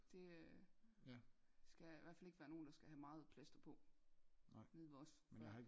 Det øh skal der skal ihvertfald ikke nogen der skal have meget plaster på nede ved os før